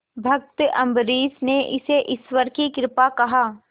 भक्त अम्बरीश ने इसे ईश्वर की कृपा कहा